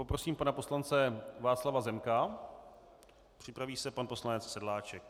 Poprosím pana poslance Václava Zemka, připraví se pan poslanec Sedláček.